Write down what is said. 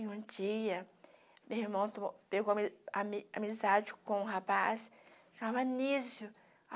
E um dia, meu irmão tomou, pegou ami ami amizade com um rapaz chamava Anísio.